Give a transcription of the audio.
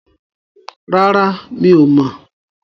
Rárá, mi ò mọ̀.